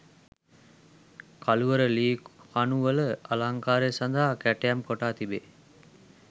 කළුවර ලී කණු වල අලංකාරය සඳහා කැටයම් කොටා තිබේ.